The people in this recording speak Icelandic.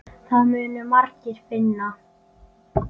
Það munu margir finna.